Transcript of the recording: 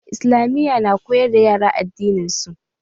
Islamiyya na koyar da yara addininsu.